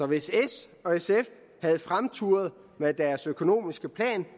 hvis s og sf havde fremturet med deres økonomiske plan